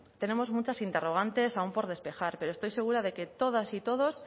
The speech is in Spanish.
tenemos muchas interrogantes aún por despejar pero estoy segura de que todas y todos